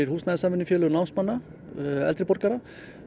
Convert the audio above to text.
húsnæðissamvinnufélög námsmanna eldri borgara